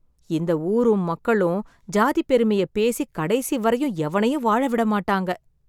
இந்த ஊரும் மக்களும் சாதிப் பெருமையை பேசி கடைசி வரையும் எவனையும் வாழ விட மாட்டாங்க.